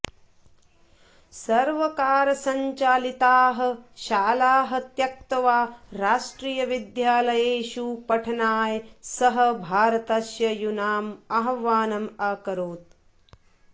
सर्वकारसञ्चालिताः शालाः त्यक्त्वा राष्ट्रियविद्यालयेषु पठनाय सः भारतस्य यूनाम् आह्वानम् अकरोत्